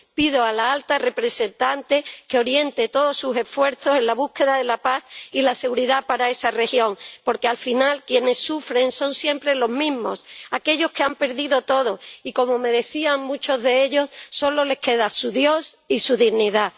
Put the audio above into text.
Pido a la alta representante que oriente todos sus esfuerzos a la búsqueda de la paz y la seguridad para esa región, porque al final quienes sufren son siempre los mismos aquellos que han perdido todo y a los que, como me decían muchos de ellos, solo les queda su dios y su dignidad.